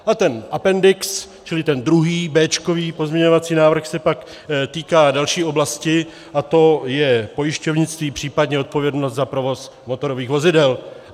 A ten apendix, čili ten druhý béčkový pozměňovací návrh, se pak týká další oblasti, a to je pojišťovnictví, případně odpovědnost za provoz motorových vozidel.